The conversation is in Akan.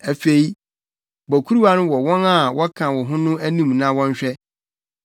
“Afei bɔ kuruwa no wɔ wɔn a wɔka wo ho no anim ma wɔnhwɛ,